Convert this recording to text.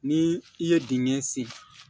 Ni i ye dingɛ sen